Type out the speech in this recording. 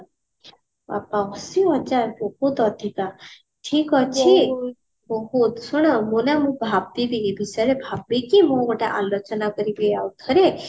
ଆଉ ବହୁତ ଅଧିକା ଠିକଅଛି ଶୁଣୁ ମୁଁ ନା ଭାବିବି ଏ ବିଷୟରେ ଭାବିକି ମୁଁ ତତେ ଆଲୋଚନା କରିବି ଆଉ ଥରେ